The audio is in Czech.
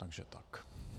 Takže tak.